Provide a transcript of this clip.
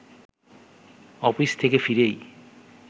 office থেকে ফিরেই